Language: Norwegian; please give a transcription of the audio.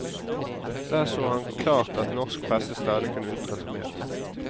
Der så han klart at norsk presse stadig kunne utrette mer.